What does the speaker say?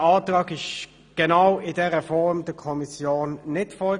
Der Antrag in genau dieser Form lag der Kommission nicht vor.